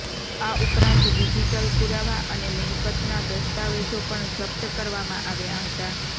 આ ઉપરાંત ડિજિટલ પુરાવા અને મિલકતના દસ્તાવેજો પણ જપ્ત કરવામાં આવ્યા હતા